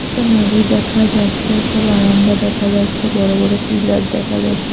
একটা নদী দেখা যাচ্ছে একটা বারান্দা দেখা যাচ্ছে বড় বড় পিলার দেখা যাচ্ছে।